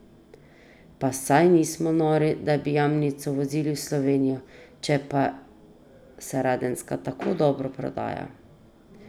Pa saj nismo nori, da bi jamnico vozili v Slovenijo, če pa se radenska tako dobro prodaja.